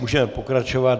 Můžeme pokračovat.